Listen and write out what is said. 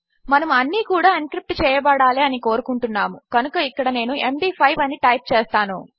మనము అన్నీ కూడా ఎన్క్రిప్ట్ చేయబడాలి అని కోరుకుంటున్నాము కనుక ఇక్కడ నేను ఎండీ5 అని టైప్ చేస్తాను